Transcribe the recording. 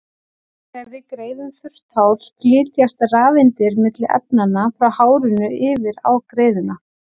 Þegar við greiðum þurrt hár flytjast rafeindir milli efnanna, frá hárinu yfir á greiðuna.